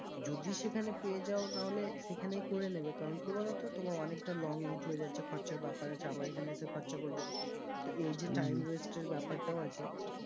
যদি সেখানে পেয়ে যাও নাহলে সেখানেই করে নেবে কারণ কি বলো তো তোমার অনেক টা long route হয়ে যাচ্ছে খরচার ব্যাপার আছে আবার এইখানে এসে খরচা করবে তো এই যে time waste এর ব্যাপার টাও আছে